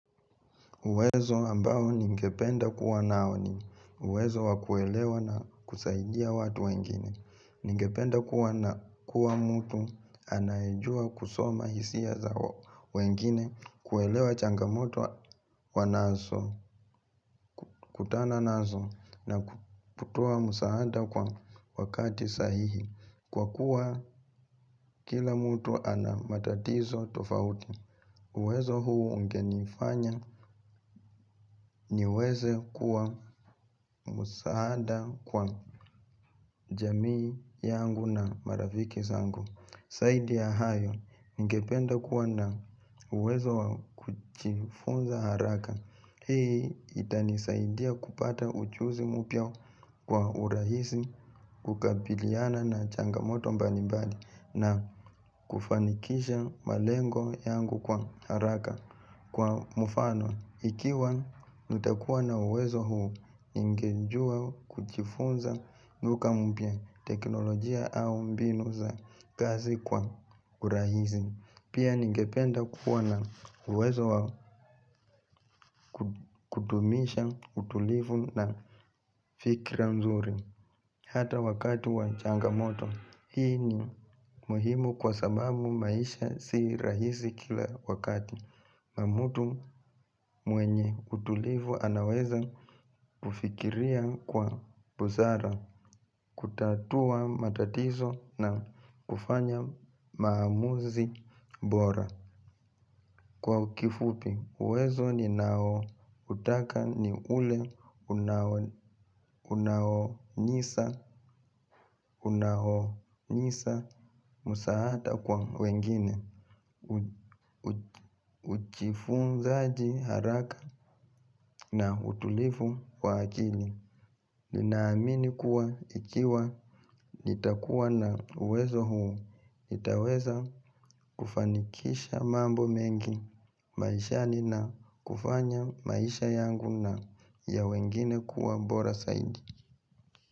Uwezo ambao ningependa kuwa nao ni uwezo wa kuelewa na kusaidia watu wengine. Ningependa kuwa na kuwa mutu anaeijua kusoma hisia zao wengine kuelewa changamoto wanaso kutana naso na kutoa musahada kwa wakati sahihi. Kwa kuwa kila mtu ana matatizo tofauti uwezo huu ungenifanya niweze kuwa musahada kwa jamii yangu na marafiki zangu. Saidi ya hayo ningependa kuwa na uwezo kuchifunza haraka. Hii itani saidia kupata uchuzi mupya kwa urahisi kukabiliana na changamoto mbalibali na kufanikisha malengo yangu kwa haraka kwa mufano ikiwa nitakuwa na uwezo huu ningenjua kuchifunza nukamupia teknolojia au mbinu za kazi kwa urahizi. Pia ningependa kuwa na uwezo kutumisha utulifu na fikira mzuri. Hata wakati wa changamoto hii ni muhimu kwa sababu maisha si rahisi kila wakati na mutu mwenye utulivu anaweza kufikiria kwa buzara kutatua matatizo na kufanya maamuzi bora. Kwa kifupi, uwezo ninao utaka ni ule unahonisa musahata kwa wengine, uchifunzaaji haraka na utulifu wa akili. Ninaamini kuwa ikiwa nitakuwa na uwezo huu, nitaweza kufanikisha mambo mengi, maishani na kufanya maisha yangu na ya wengine kuwa bora saidi.